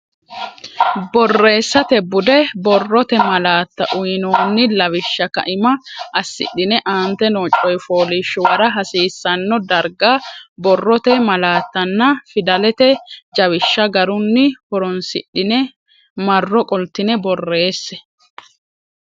Borreessate Bude Borrote Malaatta uynoonni lawishsha kaima assidhine aante noo coy fooliishshuwara hasiisanno darga borrote malaattanna fidalete jawishsha garunni horonsidhine marro qoltine borreesse.